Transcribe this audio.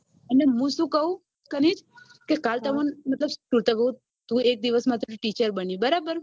અને હું શું કઉ કાલ તમન મતલબ એક દિવસ માટે teacher બની બરાબર